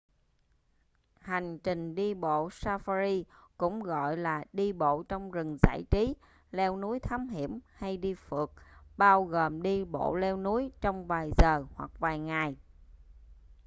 hành trình đi bộ safari cũng gọi là đi bộ trong rừng giải trí” leo núi thám hiểm” hay đi phượt” bao gồm đi bộ leo núi trong vài giờ hoặc vài ngày